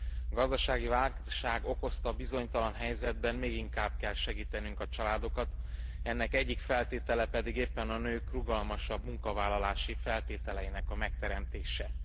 A gazdasági válság okozta bizonytalan helyzetben még inkább segítenünk kell a családokat, ennek egyik feltétele pedig éppen a nők rugalmasabb munkavállalási feltételeinek a megteremtése.